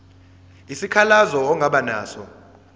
isikhalazo ongaba naso